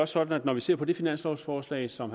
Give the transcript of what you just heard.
sådan at når vi ser på det finanslovforslag som